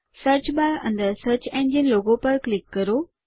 search bar અંદર search engine logo પર click કરો